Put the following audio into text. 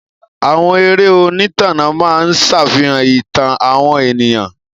Àwọn eré Onítànà máa ń ṣàfihàn ìtàn àwọn ènìyàn.